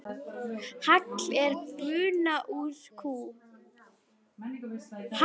Hagl er buna úr kú.